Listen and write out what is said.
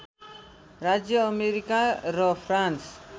राज्य अमेरिका र फ्रान्स